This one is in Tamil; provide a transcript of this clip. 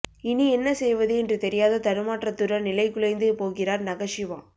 இனி என்ன செய்வது என்று தெரியாத தடுமாற்றத்துடன் நிலைகுலைந்து போகிறார் நகஷிமா